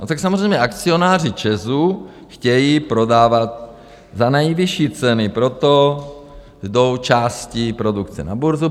No tak samozřejmě akcionáři ČEZu chtějí prodávat za nejvyšší ceny, proto jdou části produkce na burzu.